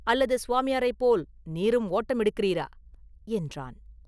அல்லது சுவாமியாரைப் போல் நீரும் ஓட்டம் எடுக்கிறீரா?” என்றான்.